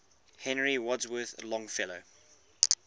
henry wadsworth longfellow